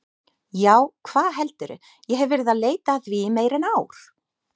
Já, hvað heldurðu, ég hef verið að leita að því í meira en ár.